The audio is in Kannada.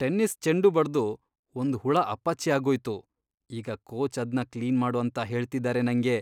ಟೆನ್ನಿಸ್ ಚೆಂಡು ಬಡ್ದು ಒಂದ್ ಹುಳ ಅಪ್ಪಚ್ಚಿ ಆಗೋಯ್ತು, ಈಗ ಕೋಚ್ ಅದ್ನ ಕ್ಲೀನ್ ಮಾಡು ಅಂತ ಹೇಳ್ತಿದಾರೆ ನಂಗೆ.